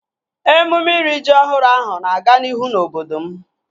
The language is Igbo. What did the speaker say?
Emume iri ji ọhụrụ ahụ na-aga n'ihu na obodo m